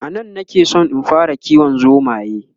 anan na ke San in fara kiwon zomaye